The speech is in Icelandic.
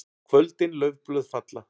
KVÖLDIN LAUFBLÖÐ FALLA.